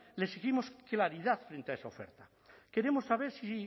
le exigimos claridad frente a esa oferta queremos saber si